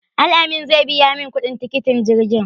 Al-amin zai biya min kuɗin tikitin jirgin.